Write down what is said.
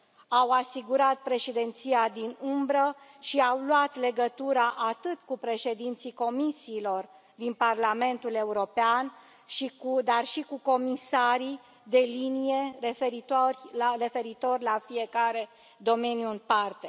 Au asigurat Președinția din umbră și au luat legătura atât cu președinții Comisiilor din Parlamentul European, cât și cu comisarii de linie, referitor la fiecare domeniu în parte.